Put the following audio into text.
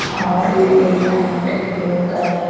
orange designed blue color .